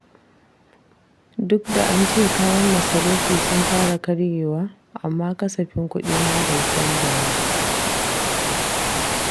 Duk da an ce kayan masarufi sun fara karyewa, amma kasafin kuɗina bai canja ba.